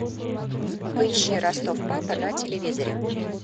поищи ростов папа на телевизоре